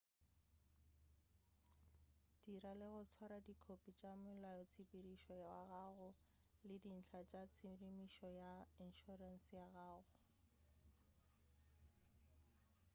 dira le go swara dikhophi tša molaotshepedišo wa gago le dintlha tša tshedimušo ya inšorense ya gago